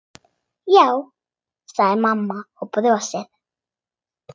Já, sagði mamma og brosti.